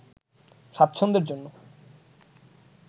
স্বাচ্ছন্দ্যের জন্য